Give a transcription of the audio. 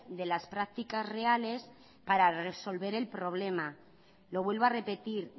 de las prácticas reales para resolver el problema lo vuelvo a repetir